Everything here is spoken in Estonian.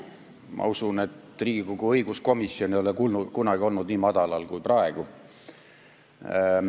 Ma usun, et Riigikogu õiguskomisjon ei ole kunagi olnud nii madalal kui praegu.